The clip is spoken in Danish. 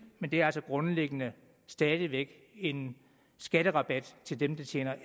men det er altså grundlæggende stadig væk en skatterabat til dem der tjener